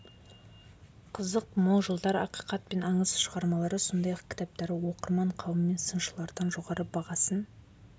қызық мол жылдар ақиқат пен аңыз шығармалары сондай-ақ кітаптары оқырман қауым мен сыншылардан жоғары бағасын